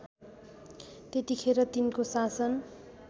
त्यतिखेर तिनको शासन